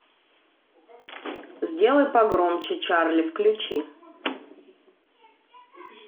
сделай погромче чарли включи